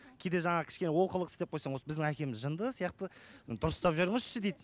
кейде жаңағы кішкене олқылық істеп қойсаң осы біздің әкеміз жынды сияқты дұрыстап жүріңізші дейді